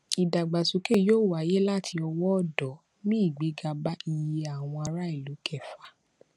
ìdàgbàsókè yóò wáyé láti ọwó òdó mú igbéga bá iye àwọn ará ìlú kẹfà